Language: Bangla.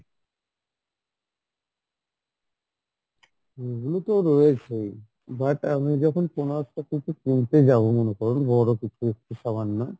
ওগুলো তো রয়েছেই but আমি যখন কোনো একটা কিছু কিনতে যাবো মানে ধরুন বড় কিছু একটু সামান্য